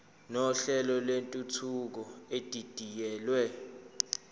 nohlelo lwentuthuko edidiyelwe